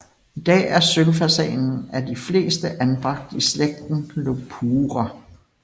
I dag er sølvfasanen af de fleste anbragt i slægten Lophura